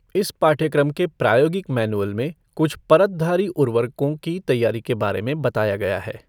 इस पाठ्यक्रम के प्रायोगिक मैनुअल में कुछ परतधारी उर्वरकों की तैयारी के बारे में बताया गया है।